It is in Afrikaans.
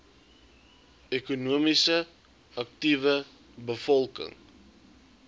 ekonomies aktiewe bevolking